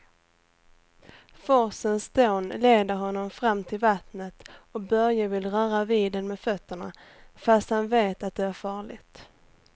Forsens dån leder honom fram till vattnet och Börje vill röra vid det med fötterna, fast han vet att det är farligt.